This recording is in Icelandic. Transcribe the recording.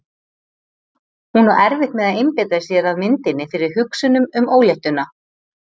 Hún á erfitt með að einbeita sér að myndinni fyrir hugsunum um óléttuna.